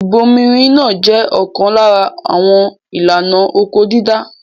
Ìbomirin náà jẹ́ ọ̀kan lára àwọn ìlànà oko-dídá.